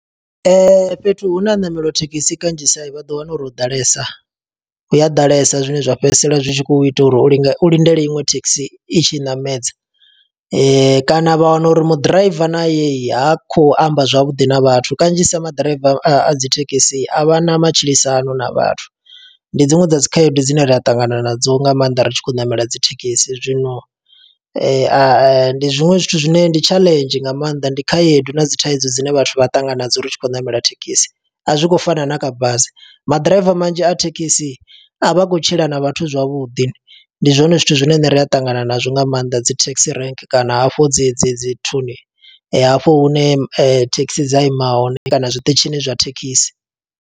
Fhethu hu ne ha ṋamela thekhisi kanzhisa vha ḓo wana uri ho ḓalesa. Hu ya ḓalesa zwine zwa fhedzisela zwi tshi khou ita uri u linde, u lindele iṅwe thekhisi i tshi ṋamedza. Kana vha wana uri muḓiraiva naye yi ha khou amba zwavhuḓi na vhathu. Kanzhisa maḓiraiva a dzithekisi a vhana matshilisano na vhathu, ndi dziṅwe dza dzi khaedu dzine ri a ṱangana nadzo nga maanḓa ri tshi khou ṋamela dzithekhisi. Zwino ndi zwiṅwe zwithu zwine ndi tshaḽenzhi nga maanḓa, ndi khaedu na dzi thaidzo dzine vhathu vha ṱangana nadzo ri tshi khou ṋamela thekhisi. A zwi khou fana na kha bazi, maḓiraiva manzhi a thekhisi a vha khou tshila na vhathu zwavhuḓi. Ndi zwone zwithu zwine riṋe ri a ṱangana nazwo nga maanḓa dzi taxi rank, kana hafhu dzedzi dzi nthuni, hafho hune thekhisi dza ima hone kana zwiṱitshini zwa thekhisi.